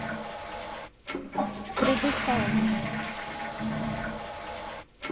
с придыханием